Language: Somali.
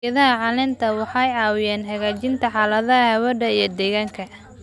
Geedaha caleenta waxay caawinayaan hagaajinta xaaladda hawada iyo deegaanka.